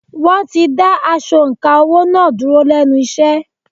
Wọ́n ti da asọ̀ǹkà owó” náà dúró lẹ́nu iṣẹ́.